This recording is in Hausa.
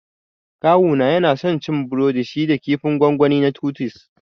Kawuna yana son cin burodin shi da kifin gongoni na Titus